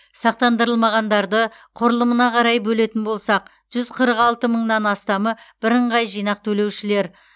сақтандырылмағандарды құрылымына қарай бөлетін болсақ жүз қырық алты мыңнан астамы бірыңғай жинақ төлеушілер